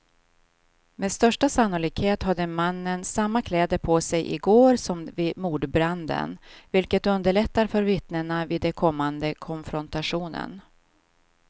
Med största sannolikhet hade mannen samma kläder på sig i går som vid mordbranden, vilket underlättar för vittnena vid den kommande konfrontationen.